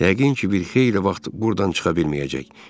Yəqin ki, bir xeyli vaxt burdan çıxa bilməyəcək.